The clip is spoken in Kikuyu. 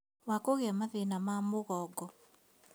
Wa kũgĩa mathĩna ma mũgongo